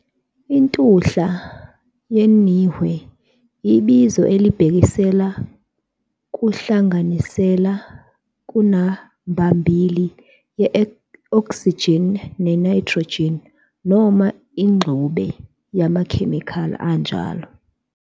intuhla yenihwe ibizo elibhekisela kunhlanganisela kanambambili ye-oxygen ne-nitrogen, noma ingxube yamakhemikhali anjalo.